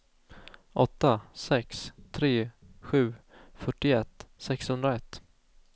åtta sex tre sju fyrtioett sexhundraett